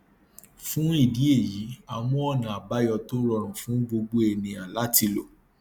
fún ìdí èyí a mú ọnà àbáyọ tó rọrùn fún gbogbo ènìyàn láti lò